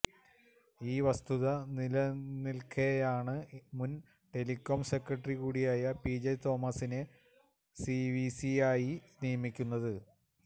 ഈ വസ്തുത നിലനില്ക്കെയാണ് മുന് ടെലികോം സെക്രട്ടറി കൂടിയായ പി ജെ തോമസിനെ സിവിസിയായി നിയമിക്കുന്നത്